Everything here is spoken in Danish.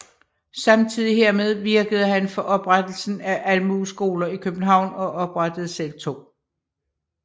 Samtidig hermed virkede han for oprettelsen af almueskoler i København og oprettede selv 2